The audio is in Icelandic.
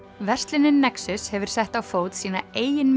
verslunin nexus hefur sett á fót sína eigin